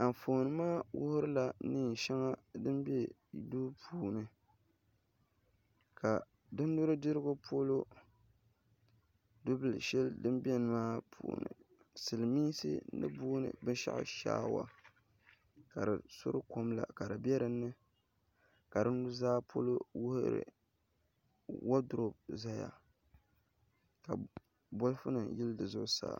Anfooni maa wuhurila neen shɛŋa din bɛ duu maa puuni ka di nudirigu polo du bili shɛli din biɛni maa puuni silmiinsi ni boondi binshaɣu shaawa ka di suri kom la ka di bɛ dinni ka di nuzaa polo woodurop ʒɛya ka bolfu nim yili zi zuɣusaa